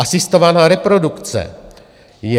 Asistovaná reprodukce je...